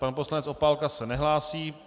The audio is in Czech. Pan poslanec Opálka se nehlásí.